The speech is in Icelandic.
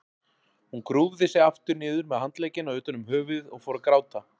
Hún grúfði sig aftur niður með handleggina utan um höfuðið og fór að gráta.